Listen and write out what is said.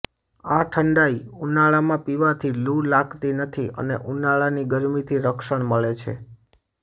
આ ઠંડાઈ ઉનાળામાં પીવાથી લૂ લાગતી નથી અને ઉનાળાની ગરમીથી રક્ષણ મળે છે